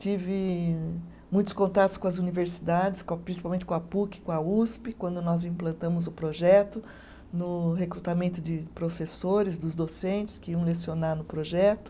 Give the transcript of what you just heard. Tive muitos contatos com as universidades, com a, principalmente com a Puc, com a Usp, quando nós implantamos o projeto, no recrutamento de professores, dos docentes que iam lecionar no projeto.